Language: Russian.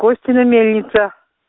костина мельница